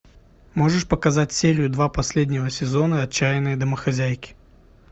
можешь показать серию два последнего сезона отчаянные домохозяйки